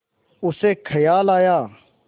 उसे ख़याल आया